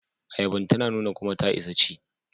Ayaban ta nuna kuma ta isa ci.